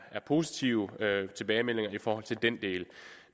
positive tilbagemeldinger i forhold til den del